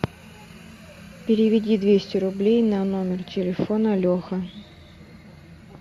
переведи двести рублей на номер телефона леха